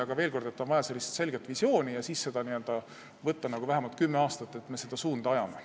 Aga veel kord: on vaja selget visiooni ja siis tuleks vähemalt kümme aastat seda joont hoida ja seda suunda ajada.